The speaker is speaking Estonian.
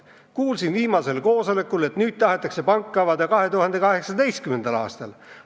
Kuulsin viimasel koosolekul, et nüüd tahetakse pank avada 2018. aastal.